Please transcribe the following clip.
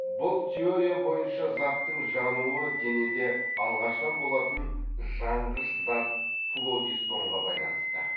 бұл теория бойынша заттың жануы денеде алғаштан болатын жанғыш зат флогистонға байланысты